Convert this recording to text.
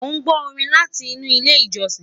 Mon gbó Orin láti inú ilé ìjósìn